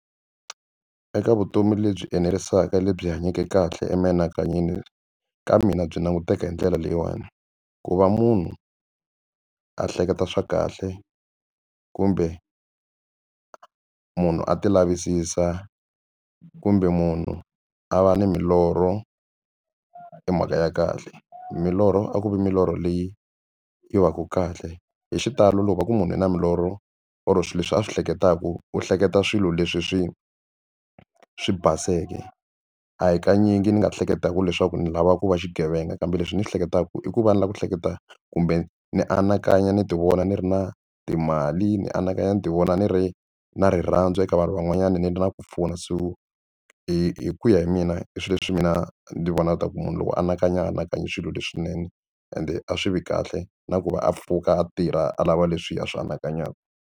Eka vutomi lebyi enerisaka lebyi hanyake kahle emianakanyweni ka mina byi languteka hi ndlela leyiwani ku va munhu a hleketa swa kahle kumbe a munhu a tilavisisa kumbe munhu a va ni milorho i mhaka ya kahle. Milorho a ku vi milorho leyi yi va ku kahle hi xitalo loko va ku munhu u na milorho or swilo leswi a swi hleketaku u hleketa swilo leswi swi swi baseke a hi kanyingi ni nga ehleketaka leswaku ni lava ku va xigevenga kambe leswi ni swi hleketaku i ku va ni lava ku hleketa kumbe ni anakanya ni ti vona ni ri na timali ni anakanya ni ti vona ni ri na hi rirhandzu eka vanhu van'wanyana na ku pfuna se ku hi ku ya hi mina i swilo leswi mina ni vona ku tiva ku munhu loko anakanya anakanyi swilo leswinene ende a swi vi kahle na ku va a pfuka a tirha a lava leswi a swi anakanyaka.